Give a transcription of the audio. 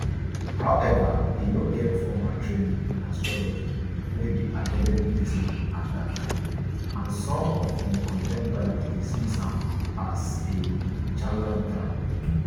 however e no get formal training in astrology wey be academic discipline at dat time and some of im contemporaries dismiss am as a charlatan